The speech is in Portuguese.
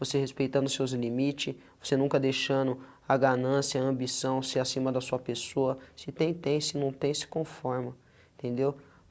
Você respeitando seus limite, você nunca deixando a ganância, a ambição, ser acima da sua pessoa, se tem, tem, se não tem, se conforma, entendeu?